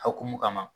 Akumu kama